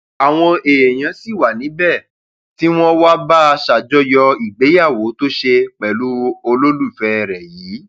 àwọn èèyàn sì wà níbẹ tí wọn wàá bá a ṣàjọyọ ìgbéyàwó tó ṣe pẹlú olólùfẹ rẹ yìí